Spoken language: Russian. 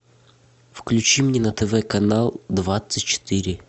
включи мне на тв канал двадцать четыре